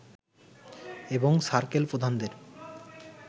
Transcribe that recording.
এবং সার্কেল প্রধানদের